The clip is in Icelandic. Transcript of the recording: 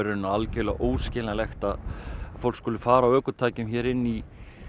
alveg óskiljanlegt að fólk skuli fara á ökutækjum hérna inn í